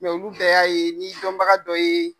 olu bɛ y'a ye ni dɔnbaga dɔ ye.